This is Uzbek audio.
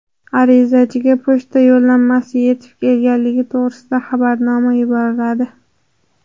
Arizachiga pochta yo‘llanmasi yetib kelganligi to‘g‘risida xabarnoma yuboriladi.